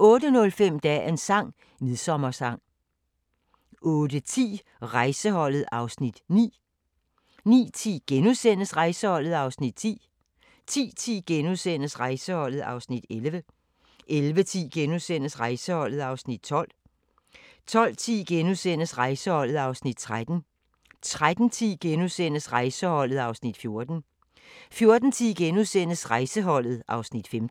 08:05: Dagens sang: Midsommersang 08:10: Rejseholdet (Afs. 9) 09:10: Rejseholdet (Afs. 10)* 10:10: Rejseholdet (Afs. 11)* 11:10: Rejseholdet (Afs. 12)* 12:10: Rejseholdet (Afs. 13)* 13:10: Rejseholdet (Afs. 14)* 14:10: Rejseholdet (Afs. 15)*